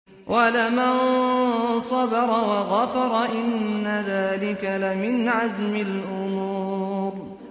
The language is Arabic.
وَلَمَن صَبَرَ وَغَفَرَ إِنَّ ذَٰلِكَ لَمِنْ عَزْمِ الْأُمُورِ